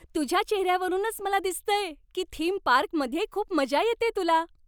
तुझ्या चेहऱ्यावरूनच मला दिसतंय की थीम पार्कमध्ये खूप मजा येतेय तुला.